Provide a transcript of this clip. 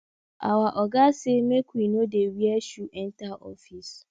our oga say make we no dey wear shoe enter office